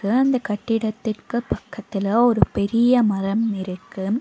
அந்த கட்டிடத்திற்கு பக்கத்துல ஒரு பெரிய மரம் இருக்கு.